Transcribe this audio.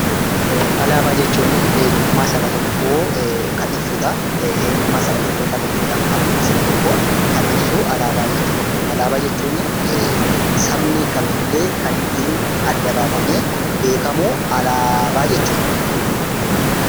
Alaabaa jechuun eenyummaa saba tokkoo kan ibsudha. Eenyummaa saba tokkoo kan ibsudha maalummaa saba tokkoo kan ibsu alaabaa jechuudha. Alaabaa jechuuni sabni kamillee kan ittiin adda baafamee beekamuu alaabaa jechuudha.